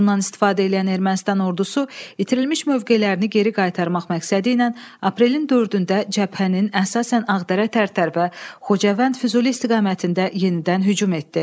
Bundan istifadə eləyən Ermənistan ordusu itirilmiş mövqelərini geri qaytarmaq məqsədi ilə aprelin dördündə cəbhənin əsasən Ağdərə-Tərtər və Xocavənd-Füzuli istiqamətində yenidən hücum etdi.